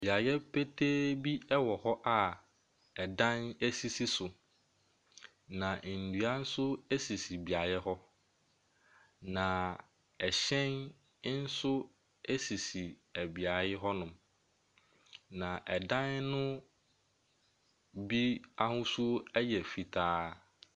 Beaeɛ petee bi ɛwɔ hɔ a ɛdan sisi so, nnua nso ɛsisi beaeɛ hɔ. Na ɛhyɛn nso ɛsisi beaeɛ hɔnom. Na ɛdan no bi ahosuo ɛyɛ fitaa.